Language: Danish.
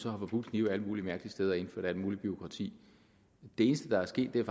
så har forbudt knive alle mulige mærkelige steder og har indført alt muligt bureaukrati det eneste der er sket er